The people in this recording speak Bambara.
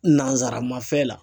Nanzaramafɛn la.